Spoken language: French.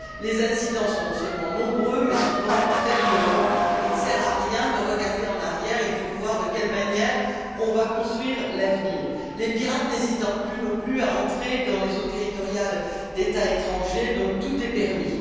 Les incidents sont non seulement nombreux mais souvent très violents et il ne sert à rien de regarder en arrière, il faut voir de quelle manière on va construire l'avenir, les pirates n'hésitant plus, non plus, à entrer dans les eaux territoriales d'États étrangers, donc tout est permis.